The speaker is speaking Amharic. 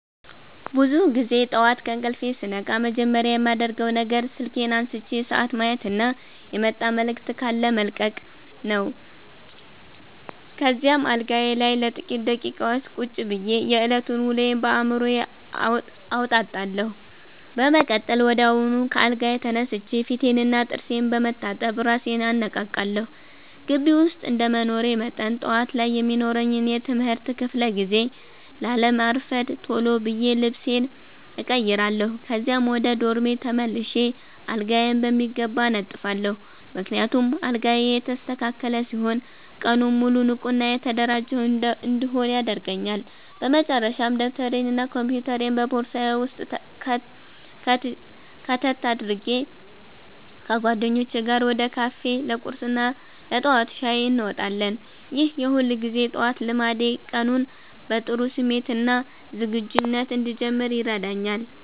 ብዙውን ጊዜ ጠዋት ከእንቅልፌ ስነቃ መጀመሪያ የማደርገው ነገር ስልኬን አንስቼ ሰዓት ማየትና የመጣ መልዕክት ካለ መለቅለቅ ነው። ከዚያም አልጋዬ ላይ ለጥቂት ደቂቃዎች ቁጭ ብዬ የዕለቱን ውሎ በአዕምሮዬ አወጣጣለሁ። በመቀጠል ወዲያውኑ ከአልጋዬ ተነስቼ ፊቴንና ጥርሴን በመታጠብ እራሴን አነቃቃለሁ። ግቢ ውስጥ እንደመኖሬ መጠን፣ ጠዋት ላይ የሚኖረኝን የትምህርት ክፍለ ጊዜ ላለማርፈድ ቶሎ ብዬ ልብሴን እቀይራለሁ። ከዚያም ወደ ዶርሜ ተመልሼ አልጋዬን በሚገባ አነጥፋለሁ፤ ምክንያቱም አልጋዬ የተስተካከለ ሲሆን ቀኑን ሙሉ ንቁና የተደራጀሁ እንድሆን ያደርገኛል። በመጨረሻም ደብተሬንና ኮምፒውተሬን በቦርሳዬ ውስጥ ከተት አድርጌ፣ ከጓደኞቼ ጋር ወደ ካፌ ለቁርስና ለጠዋት ሻይ እንወጣለን። ይህ የሁልጊዜ ጠዋት ልማዴ ቀኑን በጥሩ ስሜትና ዝግጁነት እንድጀምር ይረዳኛል።